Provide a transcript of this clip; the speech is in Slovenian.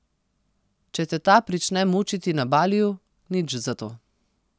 Če te ta prične mučiti na Baliju, nič za to.